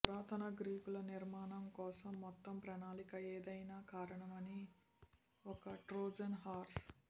పురాతన గ్రీకులు నిర్మాణం కోసం మొత్తం ప్రణాళిక ఎథేనా కారణమని ఒక ట్రోజన్ హార్స్